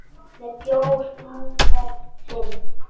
Með bjór númer fimm.